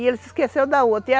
E ele se esqueceu da outra.